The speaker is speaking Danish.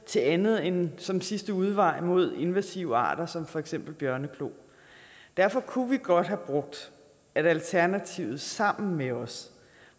til andet end som en sidste udvej mod invasive arter som for eksempel bjørneklo derfor kunne vi godt have brugt at alternativet sammen med os